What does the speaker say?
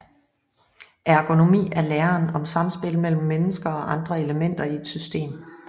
Ergonomi er læren om samspil mellem mennesker og andre elementer i et system